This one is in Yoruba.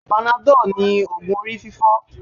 Panadol ni ògùn orí fífọ́